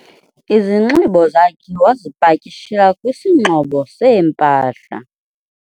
izinxibo zakhe wazipakishela kwisingxobo seempahla